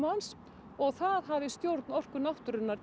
hans og það hafi stjórn Orku náttúrunnar